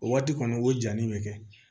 O waati kɔni o jali bɛ kɛ